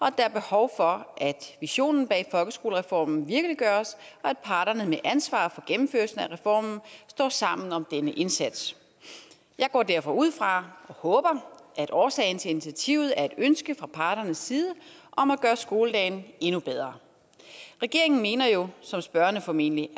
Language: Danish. at der er behov for at visionen bag folkeskolereformen virkeliggøres og at parterne med ansvaret for gennemførelsen af reformen står sammen om denne indsats jeg går derfor ud fra og håber at årsagen til initiativet er et ønske fra parternes side om at gøre skoledagen endnu bedre regeringen mener jo som spørgerne formentlig